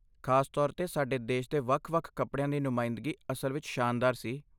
ਖ਼ਾਸ ਤੌਰ 'ਤੇ, ਸਾਡੇ ਦੇਸ਼ ਦੇ ਵੱਖ ਵੱਖ ਕੱਪੜਿਆਂ ਦੀ ਨੁਮਾਇੰਦਗੀ ਅਸਲ ਵਿੱਚ ਸ਼ਾਨਦਾਰ ਸੀ